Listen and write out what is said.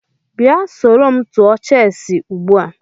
Bia soro m tụọ cheesị ugbua!